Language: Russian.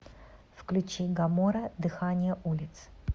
включи гамора дыхание улиц